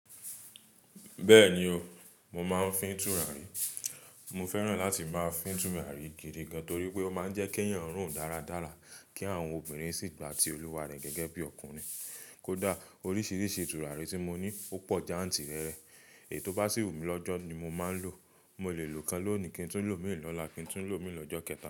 Bẹ́ẹ̀ni o, mo máa ń fín túràrí. Mo fẹ́ràn láti máa fín túràrí gidi gan, torí pé ó máa ń jẹ́ kí eeyàn rùn dáradára, kí àwọn obìnrin sì gba ti olúwa rẹ̀ gẹ́gẹ́ bí ọkùnrin. Kódà oríṣiríṣi turarí tí mo ní ó pọ̀ jantìrẹrẹ. Èyí tó bá sì wù mí lọ́jọ́ ni mo máa ń lò. Mo lè lòkan lónìí, kí n tún lò mii lọ́la, kí n tún lò míi lọ́jọ́ kẹta.